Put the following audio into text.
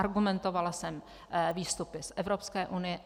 Argumentovala jsem výstupy z Evropské unie.